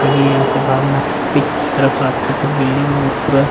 ताकि यहाँ से भाग ना सके पीछे की तरफ आपको कुछ बिल्डिंग और पूरा --